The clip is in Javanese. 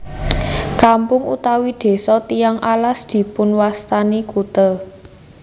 Kampung utawi desa Tiyang Alas dipunwastani kute